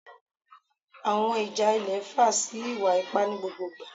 Awọn ija ilẹ nfa si iwa-ipa ni gbogbo igba